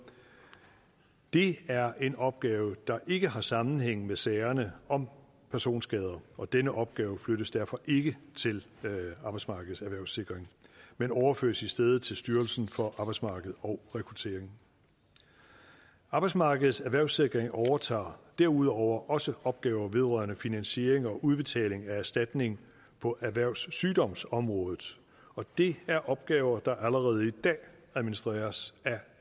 det er en opgave der ikke har sammenhæng med sagerne om personskader og denne opgave flyttes derfor ikke til arbejdsmarkedets erhvervssikring men overføres i stedet til styrelsen for arbejdsmarked og rekruttering arbejdsmarkedets erhvervssikring overtager derudover også opgaver vedrørende finansiering og udbetaling af erstatning på erhvervssygdomsområdet og det er opgaver der allerede i dag administreres